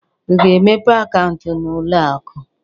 Ị ga-emepe akaụntụ n'ụlọ akụ?